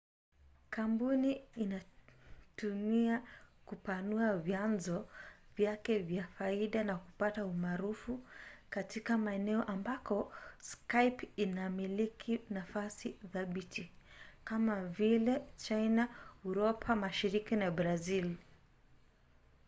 kampuni inatumai kupanua vyanzo vyake vya faida na kupata umaarufu katika maeneo ambako skype inamiliki nafasi thabiti kama vile china uropa mashariki na brazili